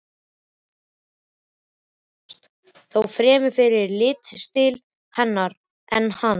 Það hafði heppnast, þó fremur fyrir tilstilli hennar en hans.